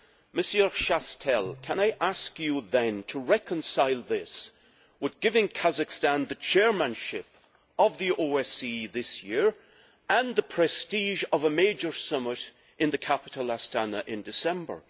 Mr Chastel, can I ask you then how you reconcile this with giving Kazakhstan the chairmanship of the OSCE this year and the prestige of a major summit in its capital, Astana, in December?